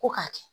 Ko k'a kɛ